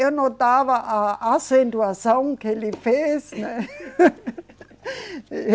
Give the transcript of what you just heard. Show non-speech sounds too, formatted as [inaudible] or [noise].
Eu notava a acentuação que ele fez, né? [laughs]